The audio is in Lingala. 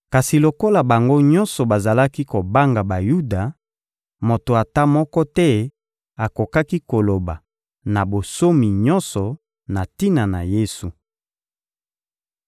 Kasi, lokola bango nyonso bazalaki kobanga Bayuda, moto ata moko te akokaki koloba na bonsomi nyonso na tina na Yesu.